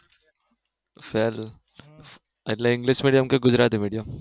સારું એટલે english medium કે ગુજરતી medium